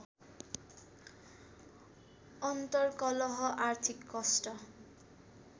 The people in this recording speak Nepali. अन्तर्कलह आर्थिक कष्ट